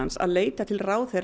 að leita til ráðherra